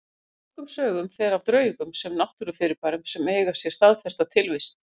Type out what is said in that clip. En engum sögum fer af draugum sem náttúrufyrirbærum sem eiga sér staðfesta tilvist.